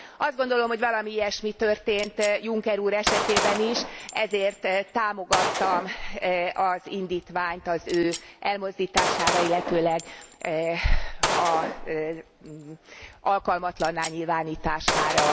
Azt gondolom, hogy valami ilyesmi történt Juncker úr esetében is, ezért támogattam az indítványt az ő elmozdítására, illetőleg alkalmatlanná nyilvánítására.